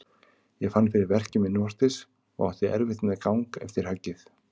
Ég fann fyrir verkjum innvortis og átti erfitt með gang eftir höggið.